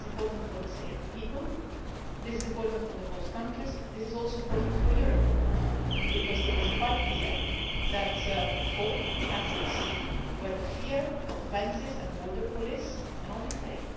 This is important for the Syrian people. This is important for the host countries, but this is also important for Europe because it is quite clear that hope can succeed where the fear of fences and border police can only fail.